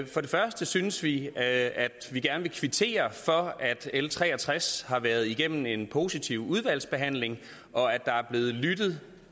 for det første synes vi at vi gerne vil kvittere for at l tre og tres har været igennem en positiv udvalgsbehandling og at der er blevet lyttet